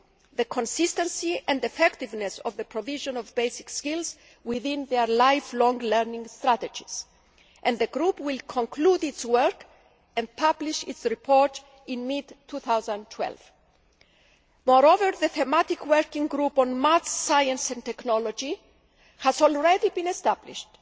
the consistency and effectiveness of the provision of basic skills within their lifelong learning strategies, and the group will conclude its work and publish its report in mid 2012. Moreover, the thematic working group on maths, science and technology has already been established.